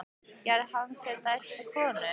Gerði hann sér dælt við konur?